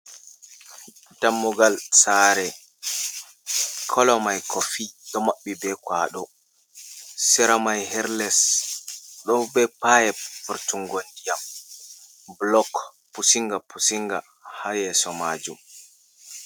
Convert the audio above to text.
Dammugal saare, koolo mai kofi ɗo maɓɓi be kwaaɗo, sera mai her les ɗo be payep vurtungo ndiyam, buloks pussinga pussinga ha yeeso maajum.